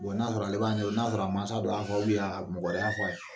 n'a sɔrɔ ale b'a n'a sɔrɔ a mansa dɔ y'a fɔ mɔgɔ wɛrɛ y'a fɔ a ye.